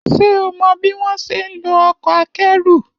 Ṣé o mọ bí wọ́n ṣe ń lo ọkọ̀ akẹ́rù?